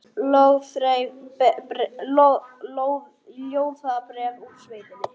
Ljóðabréf úr sveitinni